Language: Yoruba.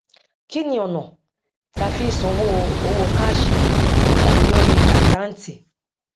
kí ni ọnà tí a fi í sanwó owó káàṣì tàbí lórí àkáǹtì